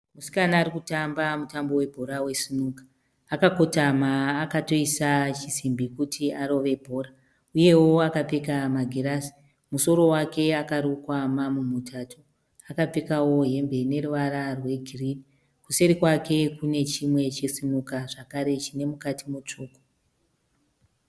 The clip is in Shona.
Musikana arikumba mutambo webhora wesinuka. Akakotama akatoisa chisimbi kuti arove bhora uyewo akapfeka magirazi. Musoro wake akarukwa mamu mutatu. Akapfekawo hembe ineruvara rwegirinhi. Kuseri kwake kune chimwe chesinuka zvakare chine mukati mutsvuku.